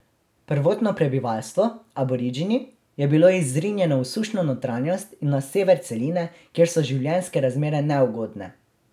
Prvotno prebivalstvo, Aboridžini, je bilo izrinjeno v sušno notranjost in na sever celine, kjer so življenjske razmere neugodne.